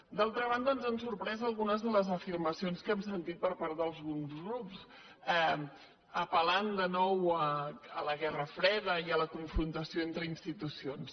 d’altra banda ens han sorprès algunes de les afirmacions que hem sentit per part d’alguns grups apel·lant de nou a la guerra freda i a la confrontació entre institucions